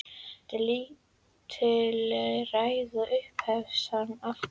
Þetta er lítilræði upphefst hann aftur.